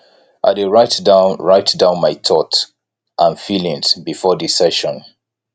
i dey write down write down my thought and feelings before di session